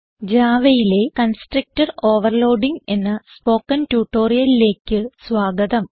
Javaയിലെ constructor overloading എന്ന spoken ട്യൂട്ടോറിയലിലേക്ക് സ്വാഗതം